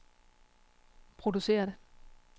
produceret